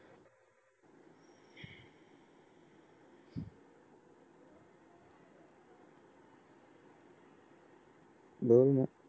बोल मग